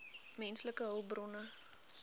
menslike hulpbronne